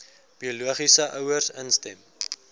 biologiese ouers instem